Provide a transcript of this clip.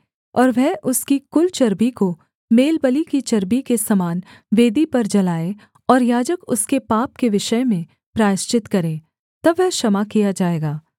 और वह उसकी कुल चर्बी को मेलबलि की चर्बी के समान वेदी पर जलाए और याजक उसके पाप के विषय में प्रायश्चित करे तब वह क्षमा किया जाएगा